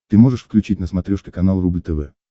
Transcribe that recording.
ты можешь включить на смотрешке канал рубль тв